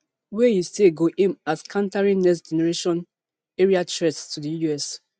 wey e say go aim at countering nextgeneration aerial threats to di us